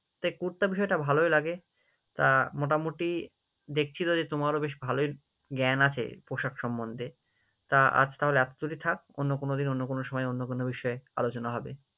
তাই করতে আমার সেটা ভালোই লাগে, তা মোটামুটি দেখছি তো যে তোমারও বেশ ভালোই জ্ঞান আছে পোশাক সম্মন্ধে, তা আজ তাহলে এতটুকুই থাক, অন্য কোনোদিন অন্য কোনো সময় অন্য কোনো বিষয়ে আলোচনা হবে।